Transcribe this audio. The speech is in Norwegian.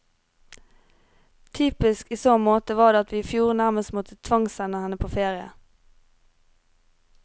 Typisk i så måte var det at vi i fjor nærmest måtte tvangssende henne på ferie.